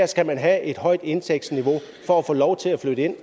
skal have et højt indtægtsniveau for at få lov til at flytte ind